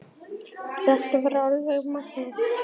Þetta var alveg magnað!